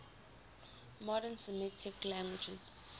modern semitic languages